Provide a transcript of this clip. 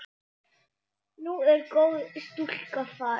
Nú er góð stúlka farin.